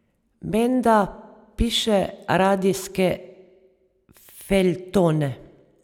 Menda piše radijske feljtone.